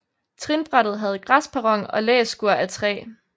Trinbrættet havde græsperron og læskur af træ